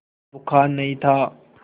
बुखार नहीं था